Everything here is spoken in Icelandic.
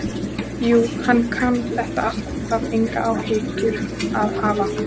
Jú, hann kann þetta allt, þarf engar áhyggjur að hafa.